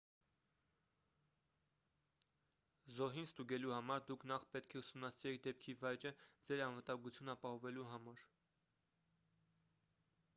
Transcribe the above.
զոհին ստուգելու համար դուք նախ պետք է ուսումնասիրեք դեպքի վայրը ձեր անվտանգությունն ապահովելու համար